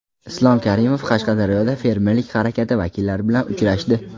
Islom Karimov Qashqadaryoda fermerlik harakati vakillari bilan uchrashdi.